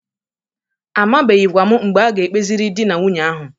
Amabeghikwa m mgbe a ga-ekpeziri dị na nwunye ahụ.